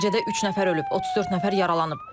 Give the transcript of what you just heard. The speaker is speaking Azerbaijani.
Nəticədə üç nəfər ölüb, 34 nəfər yaralanıb.